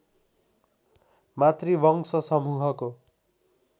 मातृवंश समूहको